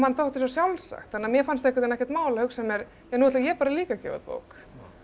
þótti svo sjálfsagt þannig að mér fannst ekkert mál að hugsa mér nú ætla ég líka að gefa út bók